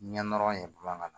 Ɲɛ nɔrɔ ye bamanankan na